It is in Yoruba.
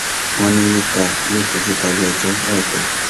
wọn ní rita yóò fojú balẹẹjọ láìpẹ